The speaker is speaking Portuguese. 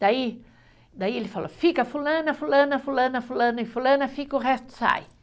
Daí, daí ele falou, fica fulana, fulana, fulana, fulana e fulana, fica, o resto sai.